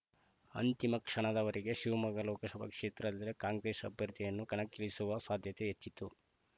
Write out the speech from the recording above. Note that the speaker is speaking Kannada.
ಅಂತಿಮ ಕ್ಷಣದವರೆಗೆ ಶಿವಮೊಗ್ಗ ಲೋಕಸಭೆ ಕ್ಷೇತ್ರದಲ್ಲಿ ಕಾಂಗ್ರೆಸ್‌ ಅಭ್ಯರ್ಥಿಯನ್ನು ಕಣಕ್ಕಿಳಿಸುವ ಸಾಧ್ಯತೆ ಹೆಚ್ಚಿತ್ತು